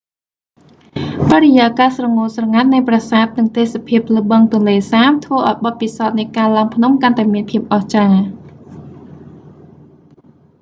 បរិយាកាសស្រងូតស្រងាត់នៃប្រាសាទនិងទេសភាពលើបឹងទន្លេសាបធ្វើឱ្យបទពិសោធនៃការឡើងភ្នំកាន់តែមានភាពអស្ចារ្យ